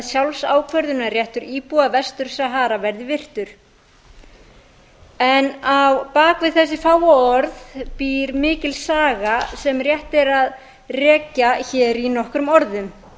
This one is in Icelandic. sjálfsákvörðunarréttur íbúa vestur sahara verði virtur á bak við þessi fáu orð býr mikil saga sem rétt er að rekja hér í nokkrum orðum